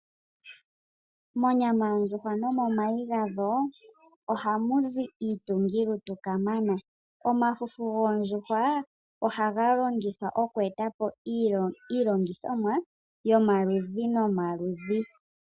Monyama yondjuhwa nomomayi gadho ohamuzi iitungilutu kamana. Omafufu goondjuhwa ohaga longithwa okweetapo iilongithomwa yomaludhi nomaludhi.